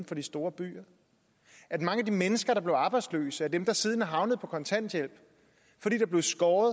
for de store byer at mange af de mennesker der blev arbejdsløse er dem der siden er havnet på kontanthjælp fordi der blev skåret